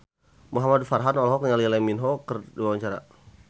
Muhamad Farhan olohok ningali Lee Min Ho keur diwawancara